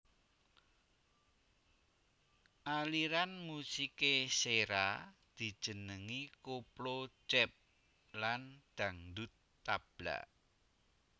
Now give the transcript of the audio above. Aliran musikè Sèra dijenengi Koplo Jap lan dangdut tabla